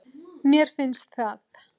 Mér finnst það.